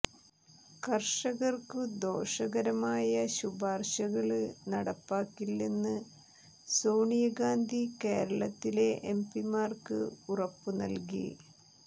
കര്ഷകര്ക്കു ദോഷകരമായ ശുപാര്ശകള് നടപ്പാക്കില്ലെന്ന് സോണിയ ഗാന്ധി കേരളത്തിലെ എംപിമാര്ക്ക് ഉറപ്പ് നല്കി